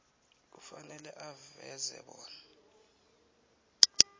kufanele aveze bona